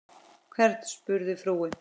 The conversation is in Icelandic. Hvern? spurði frúin.